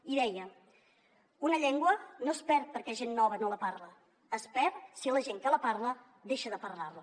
i deia una llengua no es perd perquè gent nova no la parla es perd si la gent que la parla deixa de parlar la